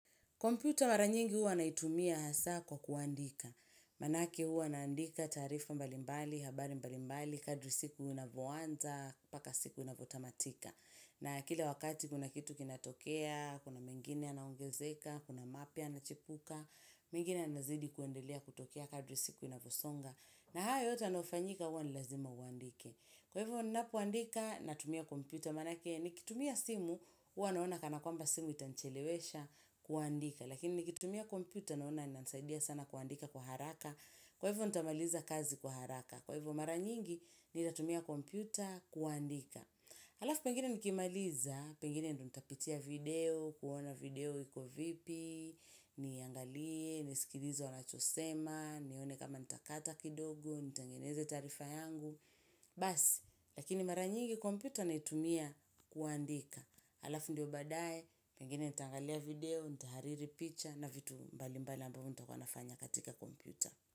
Komputa mara nyingi huwa naitumia hasa kwa kuandika. Manake huwa naandika tarifa mbalimbali, habari mbalimbali, kadri siku inavyoanza, paka siku inavyotamatika. Na kila wakati kuna kitu kinatokea, kuna mingine yanaongezeka, kuna mapia yanachipuka, mingine yanazidi kuendelea kutokea kadri siku inavyosonga. Na hayo yote yanayofanyika huwa ni lazima uandike Kwa hivyo ninapo andika natumia komputa, manake nikitumia simu, huwa naona kana kwamba simu itanichelewesha kuandika. Lakini nikitumia komputa naona inasaidia sana kuandika kwa haraka. Kwa hivyo nitamaliza kazi kwa haraka. Kwa hivyo mara nyingi ninatumia komputa kuandika. Halafu pengine nikimaliza, pengine ndio nitapitia video, kuona video iko vipi, niangalie, nisikilize wanachosema, nione kama nitakata kidogo, nitangeneze tarifa yangu. Basi, lakini mara nyingi komputa naitumia kuandika alafu ndio badae, pengine nitangalia video, ntahariri picha na vitu mbali mbali ambaya nitakuwa nafanya katika komputa.